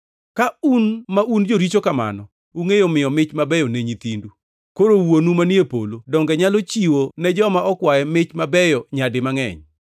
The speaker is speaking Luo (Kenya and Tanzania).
Ka un ma un joricho kamano, ungʼeyo miyo mich mabeyo ne nyithindu, koro Wuonu manie polo donge nyalo chiwo ne joma okwaye mich mabeyo nyadi mangʼeny!